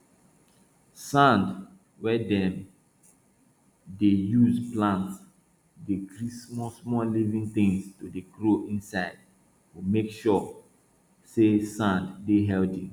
sand wey dem dey use plant dey gree small small living things to dey grow inside go make sure say sand dey healthy